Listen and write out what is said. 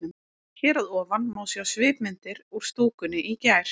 Hér að ofan má sjá svipmyndir úr stúkunni í gær.